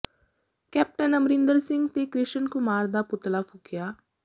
captain Amarinder Singh ਤੇ ਕ੍ਰਿਸ਼ਨ ਕੁਮਾਰ ਦਾ ਪੁਤਲਾ ਫੂਕਿਆ